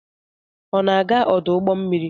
Ọ na-aga ọdụ ụgbọ mmiri?